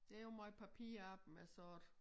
Det jo måj papirarbejde med sådan